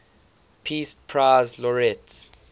peace prize laureates